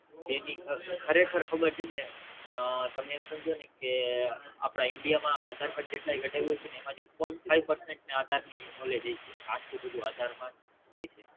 જેની ખરેખર ખબર છે ને અ તમે એમ સમજોને કે આપડા India માં આધાર જેટલાએ કઢાવ્યું હશેને એમાંથી Five percent ને આધાર ની Knowledge હશે કે આટલું બધું આધાર માં હોય છે